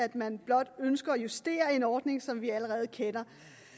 man blot ønsker at justere en ordning som vi allerede kender